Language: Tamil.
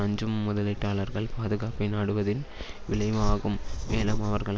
அஞ்சும் முதலீட்டாளர்கள் பாதுகாப்பை நாடுவதின் விளைவு ஆகும் மேலும் அவர்கள்